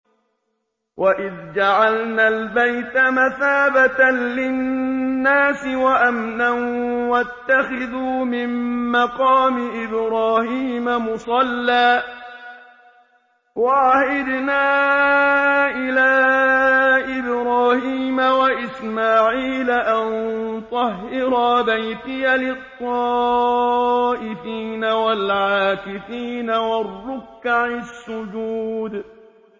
وَإِذْ جَعَلْنَا الْبَيْتَ مَثَابَةً لِّلنَّاسِ وَأَمْنًا وَاتَّخِذُوا مِن مَّقَامِ إِبْرَاهِيمَ مُصَلًّى ۖ وَعَهِدْنَا إِلَىٰ إِبْرَاهِيمَ وَإِسْمَاعِيلَ أَن طَهِّرَا بَيْتِيَ لِلطَّائِفِينَ وَالْعَاكِفِينَ وَالرُّكَّعِ السُّجُودِ